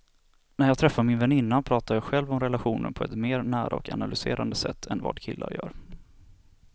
När jag träffar min väninna pratar jag själv om relationer på ett mer nära och analyserande sätt än vad killar gör.